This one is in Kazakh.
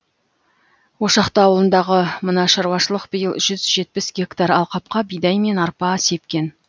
ошақты ауылындағы мына шаруашылық биыл жүз жетпіс гектар алқапқа бидай мен арпа сепкен